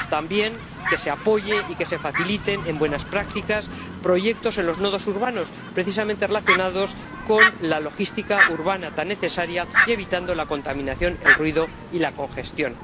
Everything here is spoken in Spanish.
También, que se apoyen y que se faciliten mediante buenas prácticas proyectos en los nodos urbanos, precisamente relacionados con la logística urbana, tan necesaria, que eviten la contaminación, el ruido y la congestión.